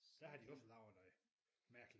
Så havde de også lavet noget mærkeligt